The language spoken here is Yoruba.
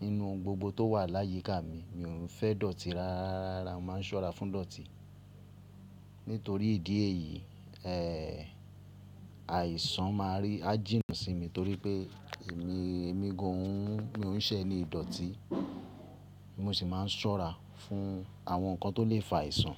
Nínú ohun gbogbo tó wà láyíká mi, mi ò fẹ́ ìdọ̀tí rárá. Mo máa ń ṣọ́ra fún ìdọ̀tí. Nítorí ìdí èyí, eh, àìsàn máa rí á jìnù sí mi torí pé èmi, èmi gan an, mi ò ún ṣẹ́ ni ìdọ̀tí. Mo sì máa ń ṣọ́ra fún àwọn ǹkan tó lè fa àìsàn.